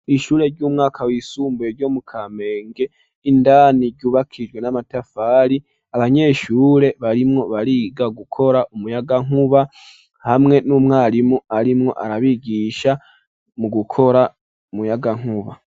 ishure ry'umwaka w'isumbuye ryo mu Kamenge, indani ryubakishijwe n'amatafari, abanyeshure barimwo bariga gukora umuyagankuba hamwe n'umwarimu arimwo arabigisha mu gukora umuyagankuba.